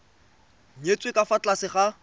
nyetswe ka fa tlase ga